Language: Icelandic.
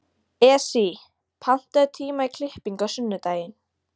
Esí, pantaðu tíma í klippingu á sunnudaginn.